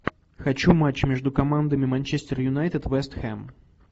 хочу матч между командами манчестер юнайтед вест хэм